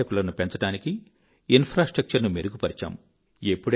పర్యాటకులను పెంచడానికి మౌలిక సదుపాయాల ను మెరుగు పరచాము